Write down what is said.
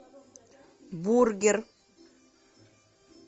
бургер